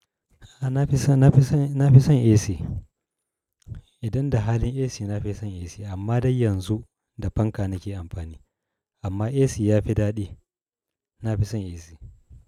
A na fi son, na fi son, na fi son AC. Idan da halin AC na fi son AC amma dai yanzu da fanka nake amfani. Amma AC ya fi daɗi, na fi son AC.